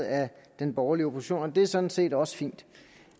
af den borgerlige opposition og det sådan set også fint